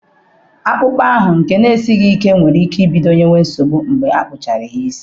Akpụkpọ ahụ nke n'esighị ike nwere ike ibido nyewe nsogbu mgbe akpụchara isi.